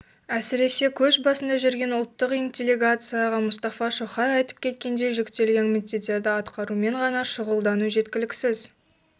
әсіресе көш басында жүрген ұлттық интеллигенцияға мұстафа шоқай айтып кеткендей жүктелген міндеттерді атқарумен ғана шұғылдану жеткіліксіз